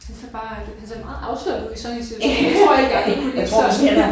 Han ser bare han ser meget afslappet ud i sådan en situation. Det tror jeg ikke jeg ville kunne ligge sådan